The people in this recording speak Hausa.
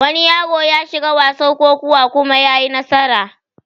Wani yaro yashiga wasar kokuwa kuma yayi nasara